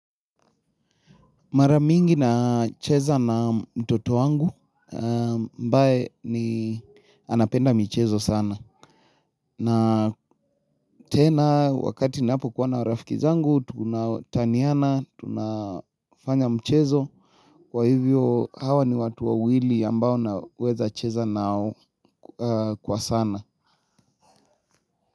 Mara mingi na cheza na mtoto wangu ambaye ni anapenda michezo sana. Na tena wakati napokuwa na rafiki zangu tunataniana, tunafanya mchezo. Kwa hivyo hawa ni watu wawili ambao naweza cheza nao kwa sana.